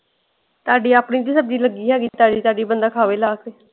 ਤੁਹਾਡੀ ਆਪਣੀ ਜੁ ਸਬਜ਼ੀ ਲੱਗੀ ਹੈਗੀ ਤਾਜ਼ੀ ਤਾਜ਼ੀ ਬੰਦਾ ਖਾਵੇ ਲਾ ਕੇ।